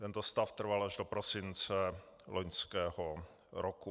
Tento stav trval až do prosince loňského roku.